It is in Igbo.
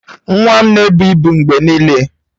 Nwa m na-ebu ibu mgbe niile.